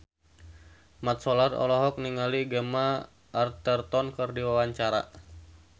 Mat Solar olohok ningali Gemma Arterton keur diwawancara